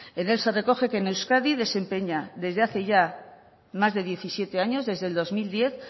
en él se recoge que en euskadi desempeña desde hace ya más de diecisiete años desde el dos mil diez